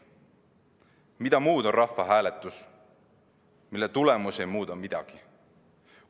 Mida muud on rahvahääletus, mille tulemus ei muuda midagi?